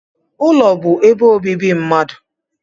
Ụlọ bụ ebe obibi mmadụ.